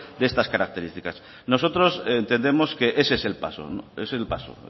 de estas características nosotros entendemos que ese es el paso es el paso